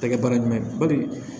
Tɛgɛ bara ɲuman ye bali